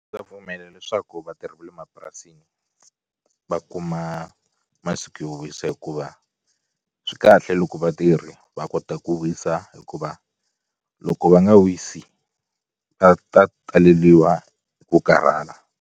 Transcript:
Ndza pfumela leswaku vatirhi va le mapurasini va kuma masiku yo wisa hikuva swi kahle loko vatirhi va kota ku wisa hikuva loko va nga wisi va ta taleliwa hi ku karhala.